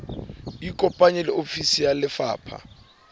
ikopanye le ofisi ya lefapha